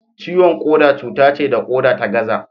Ciwon koda cuta ce da koda ta gaza.